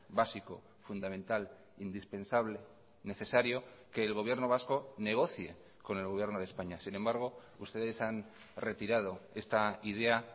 básico fundamental indispensable necesario que el gobierno vasco negocie con el gobierno de españa sin embargo ustedes han retirado esta idea